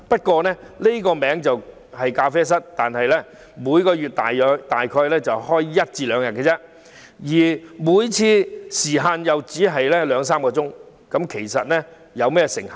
雖然名為咖啡室，但其實每月只營業約一兩天，而每次營業時間亦只得兩三小時，大家可以想象成效如何。